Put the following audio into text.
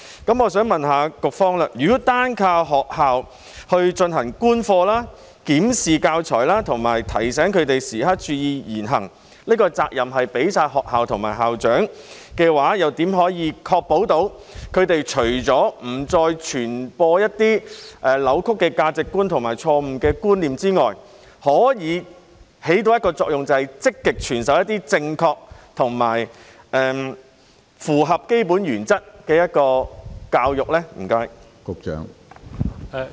那麼，我想問局方，如果單靠學校進行觀課、檢視教材和提醒教師時刻注意言行，把責任全交給學校和校長的話，又如何確保教師除了不再傳播一些扭曲的價值觀和錯誤的觀念之外，可以產生一個作用，便是積極傳授一些正確和符合基本原則的教育呢？